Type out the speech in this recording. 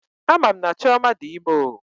Amam na Chioma di ime o